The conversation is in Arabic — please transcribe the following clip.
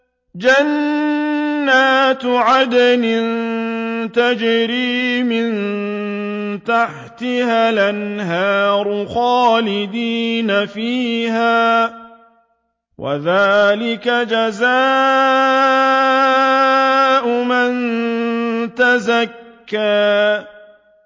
جَنَّاتُ عَدْنٍ تَجْرِي مِن تَحْتِهَا الْأَنْهَارُ خَالِدِينَ فِيهَا ۚ وَذَٰلِكَ جَزَاءُ مَن تَزَكَّىٰ